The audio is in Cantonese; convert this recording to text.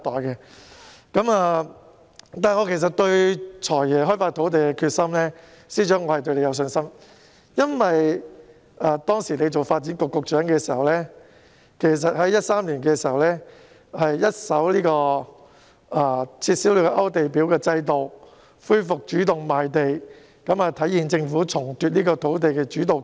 然而，我其實對司長開發土地的決心是有信心的，因為當他擔任發展局局長時，曾在2013年一手撤銷勾地表制度，恢復主動賣地，顯示政府重奪土地主導權。